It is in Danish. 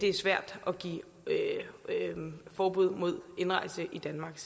er svært at give forbud mod indrejse i danmark